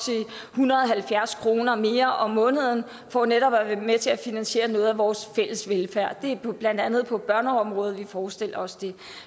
hundrede og halvfjerds kroner mere om måneden for netop at være med til at finansiere noget af vores fælles velfærd det er blandt andet på børneområdet vi forestiller os det